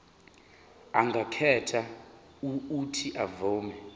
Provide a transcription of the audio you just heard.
angakhetha uuthi avume